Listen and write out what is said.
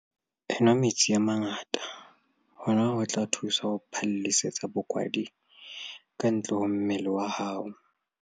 Enwa metsi a mangata - hona ho tla o thusa ho phallisetsa bokwadi kantle ho mmele wa hao.